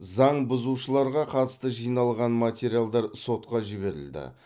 заң бұзушыларға қатысты жиналған материалдар сотқа жіберілді